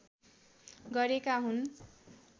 गरेका हुन्